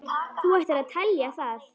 Þú ættir að telja það.